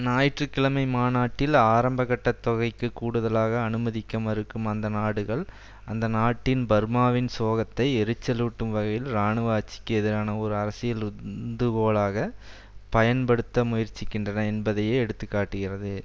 ஞாயிற்று கிழமை மாநாட்டில் ஆரம்ப கட்ட தொகைக்கு கூடுதலாக அனுமதிக்க மறுக்கும் அந்த நாடுகள் அந்நாட்டின் பர்மாவின் சோகத்தை எரிச்சலூட்டும் வகையில் இராணுவ ஆட்சிக்கு எதிரான ஓர் அரசியல் உந்துகோலாக பயன்படுத்த முயற்சிகின்றன என்பதையே எடுத்து காட்டுகிறது